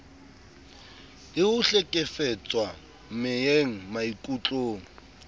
le ho hlekefetswa meyeng maikutlong